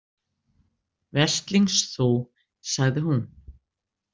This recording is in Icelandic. Veslings þú, sagði hún.